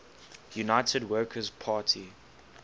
united workers party